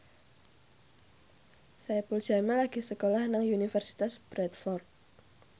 Saipul Jamil lagi sekolah nang Universitas Bradford